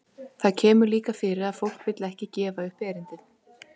Það kemur líka fyrir að fólk vill ekki gefa upp erindið.